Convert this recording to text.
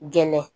Gɛlɛn